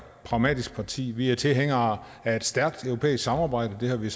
pragmatisk parti vi er tilhængere af et stærkt europæisk samarbejde det har vi